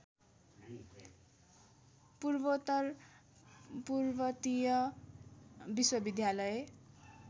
पूर्वोत्तर पर्वतीय विश्वविद्यालय